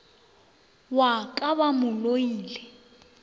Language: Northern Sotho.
wa ka ba mo loile